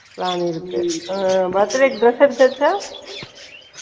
plan இருக்கு ம் birthday க்கு dress எடுத்தாச்சா